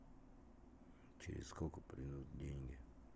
через сколько придут деньги